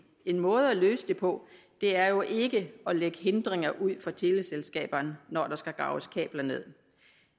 en måde at løse det på er jo ikke at lægge hindringer ud for teleselskaberne når der skal graves kabler nederst